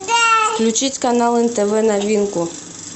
включить канал нтв новинку